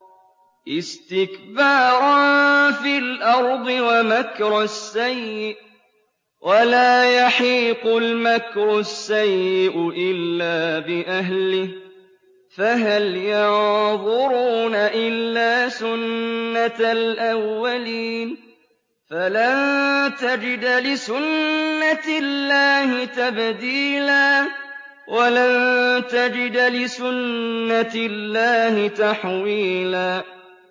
اسْتِكْبَارًا فِي الْأَرْضِ وَمَكْرَ السَّيِّئِ ۚ وَلَا يَحِيقُ الْمَكْرُ السَّيِّئُ إِلَّا بِأَهْلِهِ ۚ فَهَلْ يَنظُرُونَ إِلَّا سُنَّتَ الْأَوَّلِينَ ۚ فَلَن تَجِدَ لِسُنَّتِ اللَّهِ تَبْدِيلًا ۖ وَلَن تَجِدَ لِسُنَّتِ اللَّهِ تَحْوِيلًا